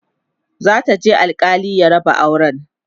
za ta je alkali ya raba auran